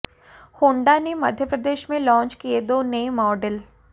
Honda ने मध्य प्रदेश में launch किए दो नए मॉडल